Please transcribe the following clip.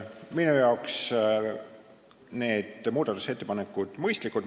Minu arvates on need muudatusettepanekud mõistlikud.